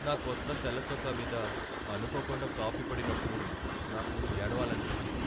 నా కొత్త తెల్ల చొక్కా మీద అనుకోకుండా కాఫీ పడినప్పుడు నాకు ఏడవాలనిపించింది.